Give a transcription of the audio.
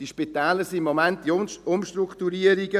Diese Spitäler sind im Moment in Umstrukturierungen.